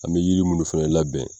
An bɛ yiri munnu fɛnɛ labɛn.